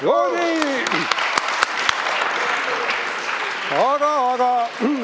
No nii!